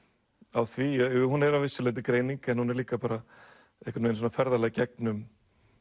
á því hún er að vissu leyti greining en hún er líka bara ferðalag gegnum